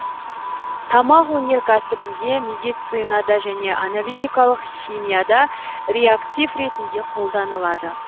тамақ өнеркәсібінде медицинада және аналитикалық химияда реактив ретінде қолданылады